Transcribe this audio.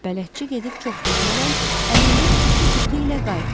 Bələdçi gedib çox keçmədən əlində iki qutu ilə qayıtdı.